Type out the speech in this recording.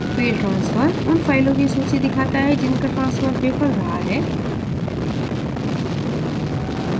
failed transfer – उन फ़ाइलों की सूची दिखाता है जिनका transfer विफल रहा है